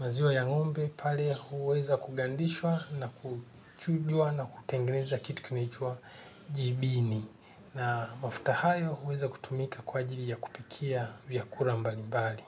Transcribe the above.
maziwa ya ng'ombe pale huweza kugandishwa na kuchujwa na kutengeneza kitukinaitwa jibini na mafuta hayo huweza kutumika kwa ajiri ya kupikia vyakula mbali mbali.